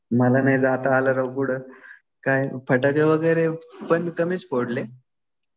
मला नाही जात आलं राव कुठं. फटाके वगैरे पण कमीच फोडले.